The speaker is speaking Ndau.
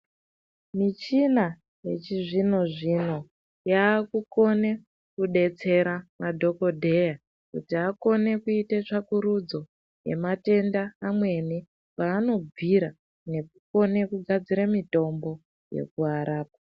Michina yachizvino zvino yakukona kudetsera madhokodheya kuti akone kuite tsvakurudzo yematenda amweni kwanobvira nekukone kugadzira mitombo yekuarapa.